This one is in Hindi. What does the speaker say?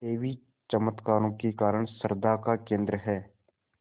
देवी चमत्कारों के कारण श्रद्धा का केन्द्र है